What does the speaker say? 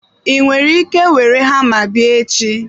Ị nwere ike were hama bịa echi?